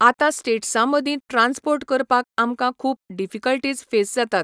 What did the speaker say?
आतां स्टेट्सां मदीं ट्रांसपोर्ट करपाक आमकां खूब डिफिकल्टीज फेस जातात.